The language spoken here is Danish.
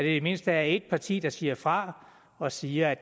i det mindste er et parti der siger fra og siger at